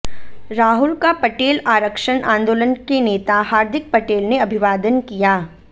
राहुल का पटेल आरक्षण आंदोलन के नेता हार्दिक पटेल ने अभिवादन किया